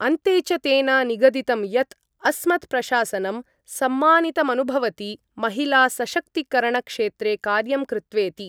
अन्ते च तेन निगदितं यत् अस्मत्प्रशासनम् सम्मानितमनुभवति महिलासशक्तिकरणक्षेत्रे कार्यं कृत्वेति।